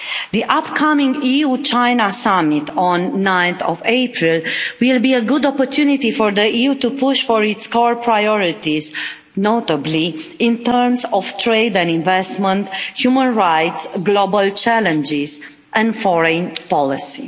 The upcoming EU China summit on 9 April will be a good opportunity for the EU to push for its core priorities, notably in terms of trade and investment, human rights, global challenges and foreign policy.